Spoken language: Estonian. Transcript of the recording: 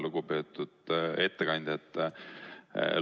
Lugupeetud ettekandja!